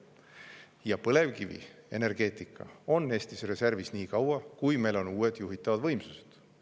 Ja põlevkivienergeetika on Eestis reservis niikaua, kui meil on uued juhitavad võimsused.